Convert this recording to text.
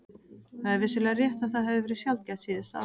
Það er vissulega rétt að það hefur verið sjaldgæft síðustu ár.